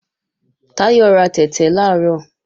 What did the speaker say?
Táyọ̀ ra tẹ̀tẹ̀ làárọ̀